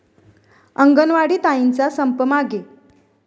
अंगणवाडी ताईंचा संप मागे